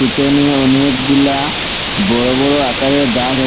পিছনে অনেকগুলা বড় বড় আকারে গাছ আ--